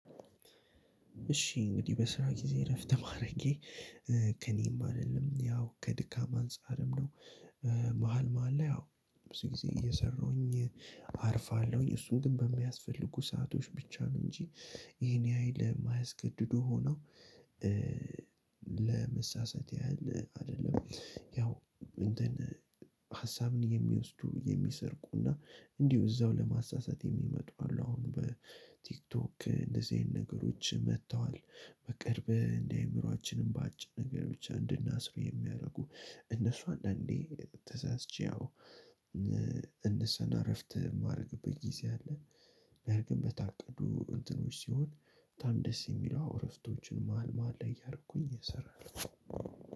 እሺ እንግዲህ በስራ ጊዜ እረፍት ማረጌ ከእኔም አይደለም ያው ከድካም አንፃርም ነው። መሃል መሃል ላይ አዎ ብዙ ገሠዜ እየሠራሁኝ አርፋለሁኝ እሱን ግን በሚያስፈልጉ ሰአቶች ብቻ ነው እንጂ ይሄን ያህል የማያስገድዱ ሆነው። ለመሳሳት ያህል አይደለም ያው እንትን ሀሳብን የሚወስዱ የሚሰርቁና እንዲሁ እዛው ለማሳሳት የሚመጡ አሉ። አሁን በቲክቶክ እንደዚህ አይነት ነገሮች መጥተዋል። በቅርብ እንደአእምሮአችንም በአጭር ነገር ብቻ እንድናስሩ የሚያደርጉ እነሱ አንዳንዴ ተሳስቼ አዎ እነሱን አረፍት የማደርግበት ጊዜ አለ። ያ ግን በታቀዱ እንትኖች ሲሆን በጣም ደስ የሚሉ እረፍቶችን መሃል መሃል ላይ እያረኩኝ እሰራለሁ።